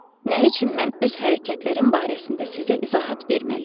Nə üçün mən öz hərəkətlərim barəsində sizə izahat verməliyəm?